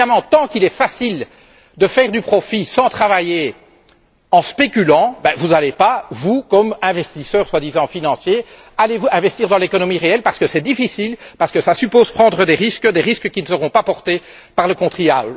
Parce qu'évidemment tant qu'il est facile de faire du profit sans travailler, en spéculant, vous n'allez pas, vous, comme investisseurs soi disant financiers, investir dans l'économie réelle parce que c'est difficile, parce que cela suppose de prendre des risques, des risques qui ne seront pas portés par le contribuable.